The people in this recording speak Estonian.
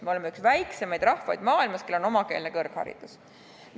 Me oleme üks väiksemaid rahvaid maailmas, kellel on omakeelne kõrgharidus.